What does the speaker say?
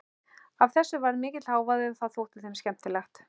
Af þessu varð mikill hávaði og það þótti þeim skemmtilegt.